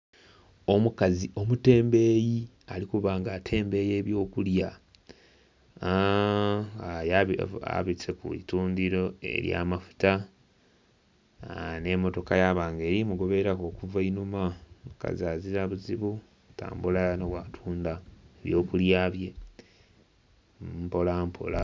Omukazi omutembeyi ali kuba nga atembeya ebyo kulya, aaa... abise kwitundhiro erya mafuta aa.. ne'motoka yaba nga eri mugoberera ku okuva einhuma. Omukazi azira buzibu atambula ghano bwa tundha ebyo kulya bye mpola mpola.